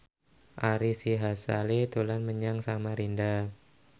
Ari Sihasale dolan menyang Samarinda